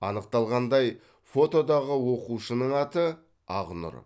анықталғандай фотодағы оқушының аты ақнұр